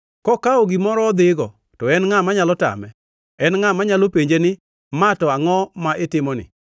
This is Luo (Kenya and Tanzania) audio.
Kokawo gimoro odhigo; to en ngʼa manyalo tame? En ngʼa manyalo penje ni, ‘Ma to angʼo ma itimoni?’